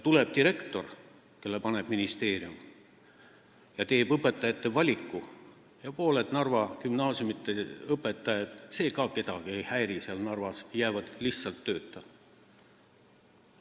Tuleb direktor, kelle määrab kohale ministeerium, ta valib õpetajad ja pooled Narva gümnaasiumide õpetajad – see ka kedagi seal Narvas ei häiri – jäävad lihtsalt tööta.